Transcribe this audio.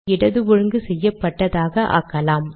இடது ஒழுங்கு செய்யப்பட்டதாக ஆக்கலாம்